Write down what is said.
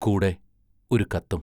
കൂടെ ഒരു കത്തും.